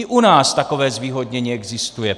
I u nás takové zvýhodnění existuje.